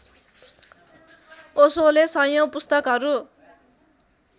ओशोले सयौं पुस्तकहरू